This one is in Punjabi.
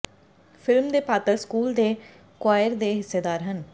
ਫਿਲਮ ਦੇ ਪਾਤਰ ਸਕੂਲ ਦੇ ਕੋਆਇਰ ਦੇ ਹਿੱਸੇਦਾਰ ਹਨ